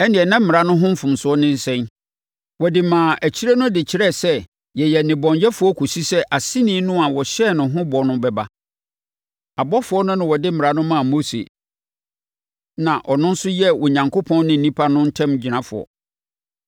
Ɛnneɛ na Mmara no ho mfasoɔ ne sɛn? Wɔde maa akyire no de kyerɛɛ sɛ yɛyɛ nnebɔneyɛfoɔ kɔsi sɛ Aseni no a wɔhyɛɛ ne ho bɔ no bɛba. Abɔfoɔ no na wɔde Mmara no maa Mose, na ɔno nso yɛɛ Onyankopɔn ne nnipa no ntamgyinafoɔ.